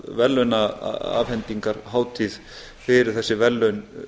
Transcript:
halda sameiginlega verðlaunaafhendingarhátíð fyrir þessi verðlaun